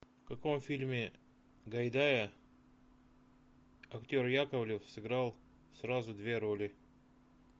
в каком фильме гайдая актер яковлев сыграл сразу две роли